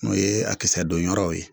N'o ye a kisɛ don yɔrɔw ye